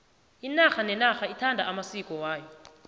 inarha nenarha ithanda amasiko ayo